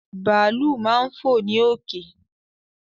Bàálù máa ń fò ní òkè